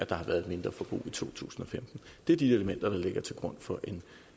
der har været et mindreforbrug i to tusind og femten det er de elementer der ligger til grund for en